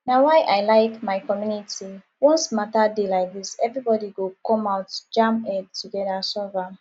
na why i like my community once matter dey like dis everybody go come out jam head together solve am